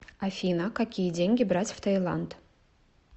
афина какие деньги брать в таиланд